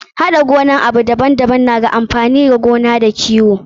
Haɗa gonan abu daban daban na da amfani a noma da kiwo.